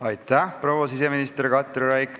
Aitäh, proua siseminister Katri Raik!